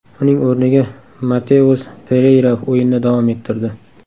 Uning o‘rniga Mateus Pereyra o‘yinni davom ettirdi.